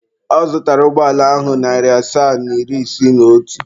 Ọ zụtara ụgbọala ahụ narị naira asaa na iri isii na otu.